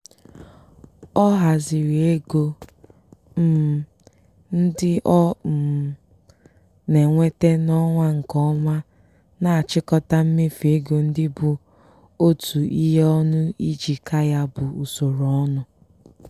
ọ haziri ego um ndị ọ um na-enweta n'ọnwa nke ọma na-achịkọta mmefu ego ndị bụ otu ihe ọnụ iji kaa ya bụ usoro ọnụ.